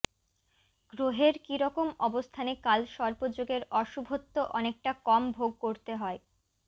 গ্রহের কী রকম অবস্থানে কালসর্প যোগের অশুভত্ব অনেকটা কম ভোগ করতে হয়